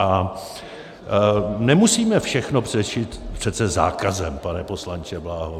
A nemusíme všechno řešit přece zákazem, pane poslanče Bláho.